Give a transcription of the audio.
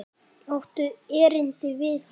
Áttu erindi við hann?